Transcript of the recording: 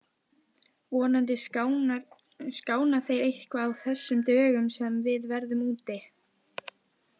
Vonandi skána þeir eitthvað á þessum dögum sem við verðum úti.